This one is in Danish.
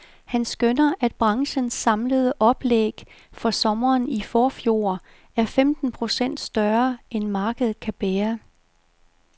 Han skønner, at branchens samlede oplæg for sommeren i forfjor er femten procent større, end markedet kan bære.